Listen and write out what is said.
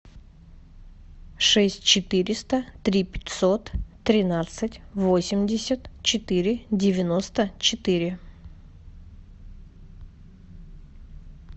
шесть четыреста три пятьсот тринадцать восемьдесят четыре девяносто четыре